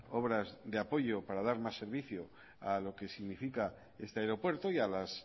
obras de apoyo para dar más servicio a lo que significa este aeropuerto y a las